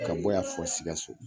Ka yan fɔ sikaso